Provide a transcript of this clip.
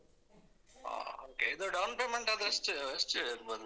ಹಾ okay ಇದು down payment ಆದ್ರೆ ಎಷ್ಟ್ ಎಷ್ಟ್ ಇರ್ಬೋದು?